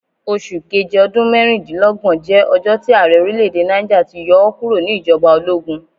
Oṣu Keje ọdun mẹrindinlọgbọn jẹ ọjọ ti aarẹ orilẹ-ede Niger ti yọ ọ kuro ni ijọba ologun